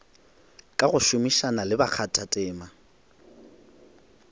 ka go šomišana le bakgathatema